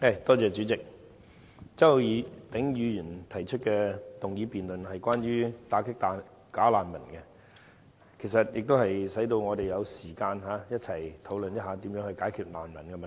代理主席，周浩鼎議員提出"打擊'假難民'"議案辯論，讓我們有時間一起討論如何解決這個難民問題。